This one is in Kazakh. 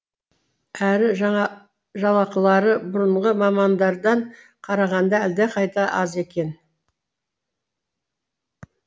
әрі жалақылары бұрынғы мамандардан қарағанда әлдеқайда аз екен